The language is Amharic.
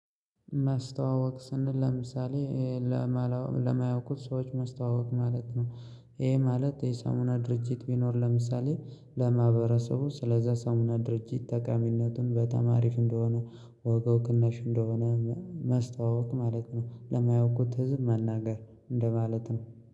ማስተዋወቅ ስንል ለምሳሌ ለማያውቁት ሰዎች ማስተዋወቅ ማለት ነው። ይሄ ማለት የሳሙና ድርጅት ቢኖር ለምሳሌ ለማህበረሰቡ ስለዛ ሳሙና ድርጅት ጠቃሚነቱን በጣም አሪፍ እንደሆነ። ዋጋው ቅናሽ እንደሆነ። ማስተዋወቅ ማለት ነው ለማያውቁት ህዝብ መናገር እንደማለት ነው።